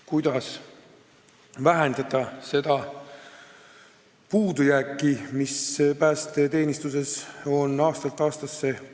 Kuidas ikkagi vähendada puudujääki, mis päästeteenistuses on aastatega tekkinud?